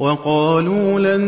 وَقَالُوا لَن